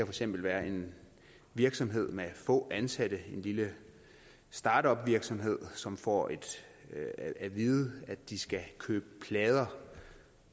eksempel være en virksomhed med få ansatte en lille startupvirksomhed som får at vide at de skal købe plader